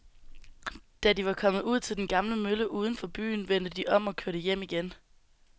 Da de var kommet ud til den gamle mølle uden for byen, vendte de om og kørte hjem igen.